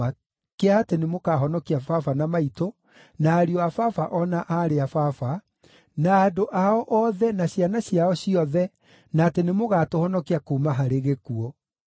kĩa atĩ nĩmũkahonokia baba na maitũ, na ariũ a baba o na aarĩ a baba, na andũ ao othe ciana ciao ciothe, na atĩ nĩmũgatũhonokia kuuma harĩ gĩkuũ.”